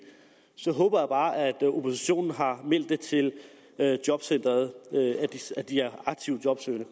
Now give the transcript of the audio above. så håber jeg bare at oppositionen har meldt til jobcentret at de er aktivt jobsøgende